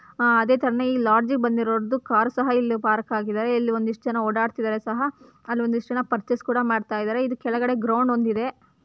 ಹಾ ಅದೇ ತರಹ ಇಲ್ಲಿ ಲಾಡ್ಜ್ ಗೆ ಬಂದಿರ್ರೊದು ಇಲ್ಲಿ ಕಾರ್ ಸಹ ಇಲ್ಲಿ ಪಾರ್ಕ್ ಹಾಕಿದಾರೆ ಇಲ್ಲಿ ಒಂದ್ಇಷ್ಟು ಜನ ಓಡಾಡ್ತಿದಾರೆ ಸಹ ಅಲ್ಲೊಂದಿಷ್ಟು ಜನ ಪರ್ಚೆಸ್ ಸಹ ಕೂಡ ಮಾಡ್ತಿದಾರೆ ಇಲ್ಲಿ ಕೆಳಗಡೆ ಗ್ರೌಂಡ್ ಒಂದು ಇದೆ.